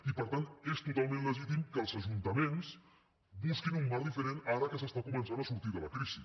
i per tant és totalment legítim que els ajuntaments busquin un marc diferent ara que s’està començant a sortir de la crisi